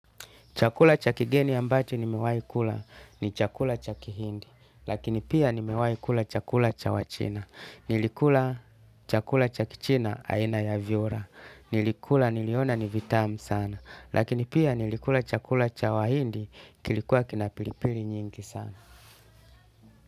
Chakula cha kigeni ambacho nimewai kula ni chakula cha kihindi. Lakini pia nimewai kula chakula cha wa china. Nilikula chakula cha kichina aina ya vyura. Nilikula niliona ni vitamu sana. Lakini pia nilikula chakula cha wahindi kilikuwa kina pilipili nyingi sana.